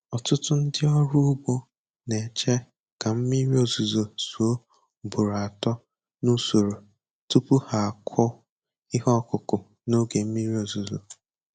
Ọtụtụ ndị ọrụ ugbo na-eche ka mmiri ozuzo zuo ugboro atọ n'usoro tupu ha akụ ihe ọkụkụ na oge mmiri ọzụzụ.